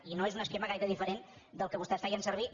i no és un esquema gaire diferent del que vostès feien servir